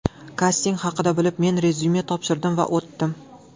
Kasting haqida bilib men rezyume topshirdim va o‘tdim.